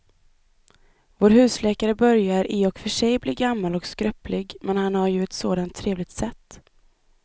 Vår husläkare börjar i och för sig bli gammal och skröplig, men han har ju ett sådant trevligt sätt!